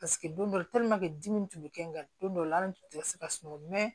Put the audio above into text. Paseke don dɔ dimi tun bɛ kɛ n kan don dɔ la ala tun tɛ se ka sunɔgɔ mɛ